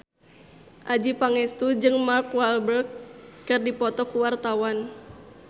Adjie Pangestu jeung Mark Walberg keur dipoto ku wartawan